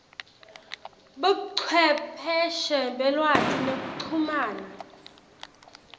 buchwepheshe belwati nekuchumana